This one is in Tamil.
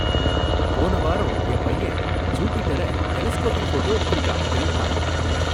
போன வாரம் என் பையன் ஜூபிடர டெலஸ்கோபிக் ஃபோட்டோ எடுத்துருக்கான், தெரியுமா!